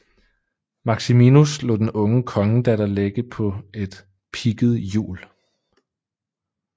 Maximinus lod den unge kongedatter lægge på et pigget hjul